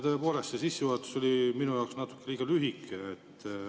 Tõepoolest, see sissejuhatus oli minu jaoks natuke liiga lühike.